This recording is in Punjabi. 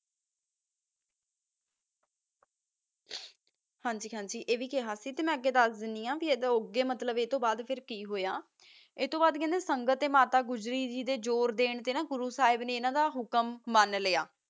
ਹਨ ਜੀ ਹਨ ਜੀ ਆ ਵੀ ਖਾ ਸੀ ਕਾ ਮਾ ਅਡੋ ਵਧ ਕਾ ਸੰਦੀਪ ਹੋਯਾ ਵਾ ਅਡੋ ਵਧ ਕਾ ਅਨਾ ਜੋਰ ਦਾਨ ਤਾ ਗੂਰੋ ਸਾਹਿਬ ਨਾ ਅਨਾ ਦਾ ਹੁਕਮ ਮਨ ਲ੍ਯ